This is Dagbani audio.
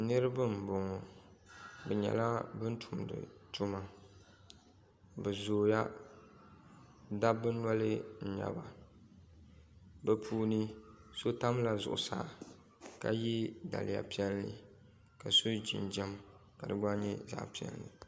Niraba n boŋi bi nyɛla bin tumdi tuma bi zooya dabba noli n nyɛba bi puuni so tamla zuɣusaa ka yɛ daliya piɛlli ka so jinjɛm ka di gba nyɛ zaɣ piɛlli